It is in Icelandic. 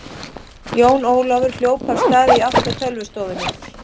Jón Ólafur hljóp af stað í átt að tölvustofunni.